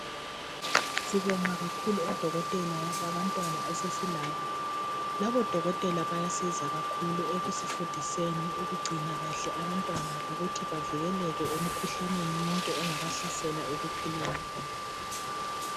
Sibonga kakhulu odokotela babantwana esesilabo. Labodokotela bayasiza kakhulu. Ekusifundiseni ukugcina kahle abantwana lokuthi bavikeleke emkhuhlaneni yonke engabahlasela ekuphileni kwabo.